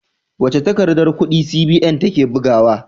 Wace takardar kudi CBN take bugawa?